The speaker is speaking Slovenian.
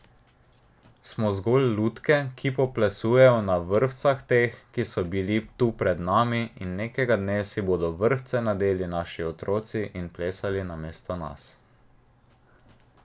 Smo zgolj lutke, ki poplesujejo na vrvcah teh, ki so bili tu pred nami, in nekega dne si bodo vrvce nadeli naši otroci in plesali namesto nas.